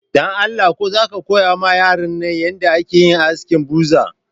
Dan Allah ko za ka ɗan koya ma yaran nan yanda ake yin askin buzur